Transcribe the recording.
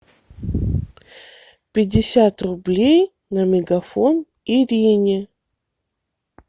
пятьдесят рублей на мегафон ирине